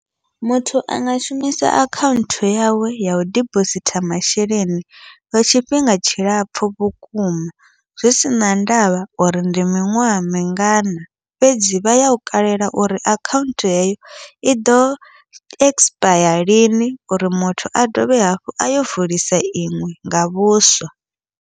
Muthu anga shumisa akhaunthu yawe yau dibositha masheleni, lwa tshifhinga tshilapfhu vhukuma zwi sina ndavha uri ndi miṅwaha mingana, fhedzi vha yau kalela uri akhaunthu heyo iḓo ekisipaya lini uri muthu a dovhe hafhu ayo vulisa iṅwe nga vhuswa.